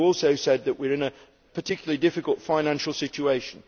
We also said we are in a particularly difficult financial situation.